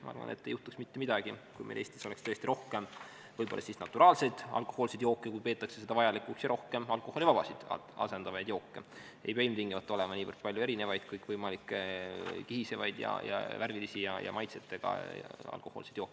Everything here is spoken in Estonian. Ma arvan, et ei juhtuks mitte midagi, kui meil Eestis oleks tõesti rohkem naturaalseid alkohoolseid jooke ja rohkem alkoholivabasid, asendavaid jooke, ei pea ilmtingimata olema nii palju erinevaid kõikvõimalikke kihisevaid, värvilisi ja maitsetega alkohoolseid jooke.